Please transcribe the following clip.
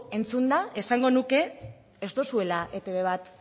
entzunda esango nuke ez duzuela etb bat